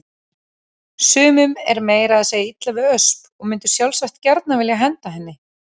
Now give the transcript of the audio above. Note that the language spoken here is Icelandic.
Sumum er meira að segja illa við Ösp og mundu sjálfsagt gjarnan vilja henda henni.